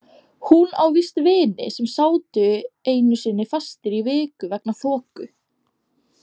Hún á víst vini sem sátu einu sinni fastir í viku vegna þoku.